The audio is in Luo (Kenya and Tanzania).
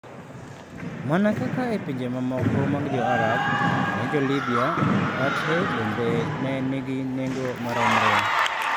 Mana kaka e pinje mamoko mag Jo-Arab, ne Jo-Libya, mkate bende ne nigi nengo maromre.